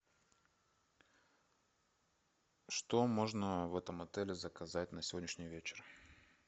что можно в этом отеле заказать на сегодняшний вечер